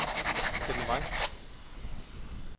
Kenn Vang